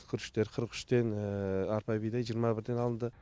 күріштер қырық үштен арпа бидай жиырма бірден алынды